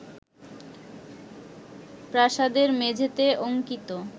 প্রাসাদের মেঝেতে অঙ্কিত